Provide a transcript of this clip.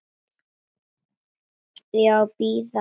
Á ég að bíða svars?